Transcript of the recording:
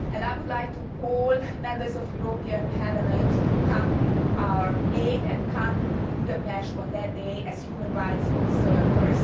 I would like to call on Members of the European Parliament to come to our aid and to come to Budapest on that day as human rights observers.